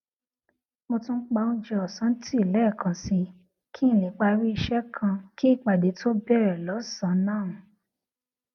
mo tún pa oúnjẹ òsán tì léèkan sí i kí n lè parí iṣé kan kí ìpàdé tó bèrè lósànán